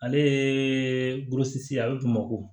Ale ye ye a bɛ bamakɔ